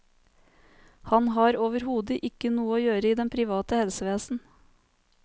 Han har overhode ikke noe å gjøre i det private helsevesen.